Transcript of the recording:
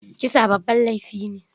Kisa babban laifi ne.